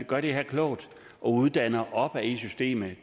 gøre det her klogt uddanne opad i systemet